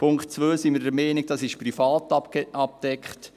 Beim Punkt 2 sind wir der Meinung, dies sei privat abgedeckt.